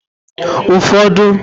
ụfọdụ